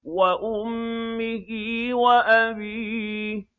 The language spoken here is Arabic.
وَأُمِّهِ وَأَبِيهِ